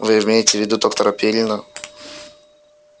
вы имеете в виду доктора пиренна